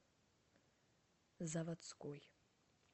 заводской